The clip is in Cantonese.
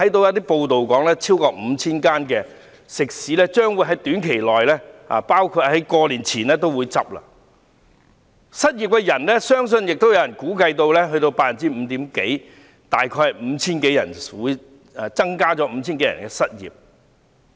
有報道指，超過 5,000 間食肆將於短期內或農曆新年前結業，也有人估計失業率將高達 5% 多一點，失業人數將增加約 5,000 多人。